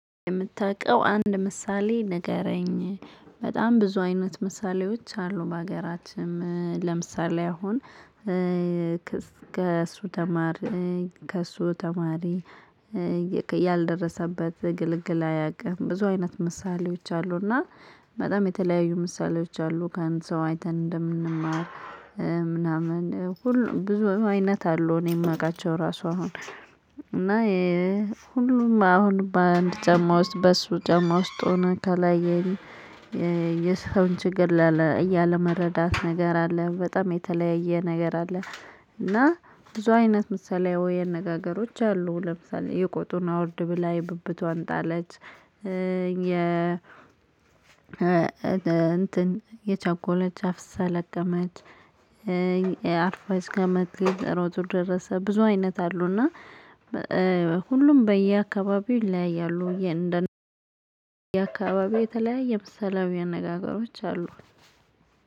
የምታውቀው አንድ ምሳሌ ንገረኝ በጣም ብዙ አይነት ምሳሌዎች አሉ በሀገራችንም ለምሳሌ አሁን ከእሱ ተማሪ ከእሱ ተማሪ ያልደረሰበት ግልግል አያውቅም። ብዙ አይነት ምሳሌዎች አሉና በጣም የተለያዩ ምሳሌዎች አሉ ከንቱ ሰው አይተን እንደምንማር ምናምን ሁሉ ብዙ አይነት አሉ። እኔ የማውቃቸው ራሱ አሁን እና ሁሉም አሁን በአንድ ጨማ ውስጥ በሱ ጨማ ውስጥ ሆነ ከላይ የሰውን ችግር እያለ መረዳት ነገር አለ። በጣም የተለያየ ነገር አለ። እና ብዙ አይነት ምሳሌ አነጋገሮች አሉ ለምሳሌ የቆጡን አውርድ ብላ የብብቷን ጣለች። የ እንትን የቸኮለች አፍሳ ለቀመች። አርፋች ከመቅደሮቹ ደረሰ ብዙ አይነት አሉና ሁሉም በየአካባቢው ይለያያሉ እንደነየ አካባቢ የተለያየ ምሳሌያዊ አነጋገሮች አሉ።